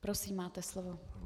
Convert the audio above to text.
Prosím, máte slovo.